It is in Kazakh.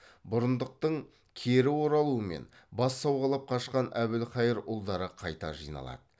бұрындықтың кері оралуымен бас сауғалап қашқан әбілқайыр ұлдары қайта жиналады